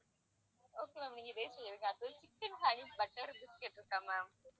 okay ma'am நீங்க பேசுங்க எனக்கு அடுத்தது chicken honey butter biscuit இருக்கா ma'am